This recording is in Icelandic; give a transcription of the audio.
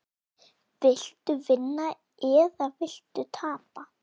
Viltu vinna eða viltu tapa?